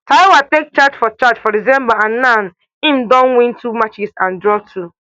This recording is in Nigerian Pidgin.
thiaw take charge for charge for december and now im don win two matches and draw two